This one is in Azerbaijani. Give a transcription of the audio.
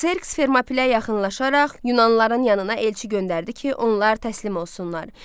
Kserks Fermopilə yaxınlaşaraq yunanlıların yanına elçi göndərdi ki, onlar təslim olsunlar.